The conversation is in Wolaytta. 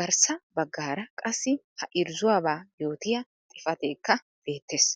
Garssaa baggara qassi ha irrzuwaaba yootiyaa xifatekka beettees.